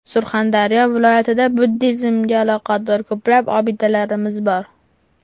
Surxondaryo viloyatida buddizmga aloqador ko‘plab obidalarimiz bor.